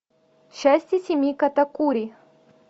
счастье семьи катакури